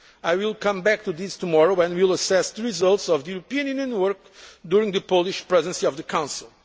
and energy. I will come back to these tomorrow when we will assess the results of the European Union's work during the Polish Presidency of the